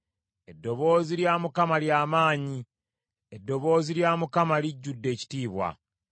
Eddoboozi lya Mukama ly’amaanyi; eddoboozi lya Mukama lijjudde ekitiibwa.